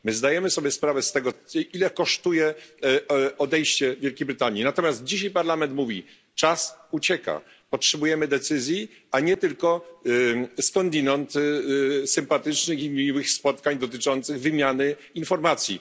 My zdajemy sobie sprawę z tego, ile kosztuje odejście Wielkiej Brytanii, natomiast dzisiaj Parlament mówi Czas ucieka, potrzebujemy decyzji, a nie tylko skądinąd sympatycznych i miłych spotkań dotyczących wymiany informacji.